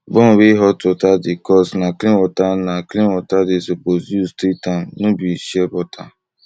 burn wey hot water dey cause na clean water na clean water dey suppose use treatam no be shea butter